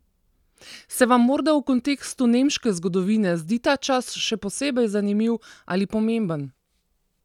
Se vam morda v kontekstu nemške zgodovine zdi ta čas še posebej zanimiv ali pomemben?